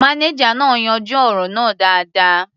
Mánéjà náà yanjú ọ̀rọ̀ náà dáadáa.